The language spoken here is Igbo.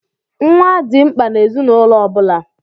Nwa dị mkpa n'ezinaụlọ ọ bụla.